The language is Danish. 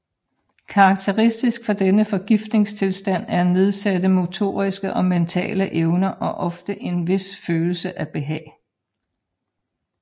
Karakteristisk for denne forgiftningstilstand er nedsatte motoriske og mentale evner og ofte en vis følelse af behag